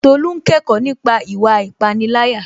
Tolú n kẹ́kọ̀ọ́ nípa ìwà ìpániláyà